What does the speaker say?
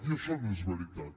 i això no és veritat